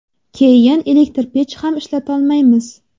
Keyin elektr pech ham ishlatolmaymiz.